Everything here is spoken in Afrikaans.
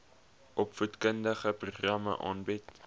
opvoedkundige programme aanbied